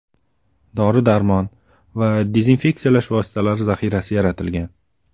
Dori-darmon va dezinfeksiyalash vositalari zaxirasi yaratilgan.